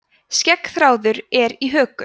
skeggþráður er á höku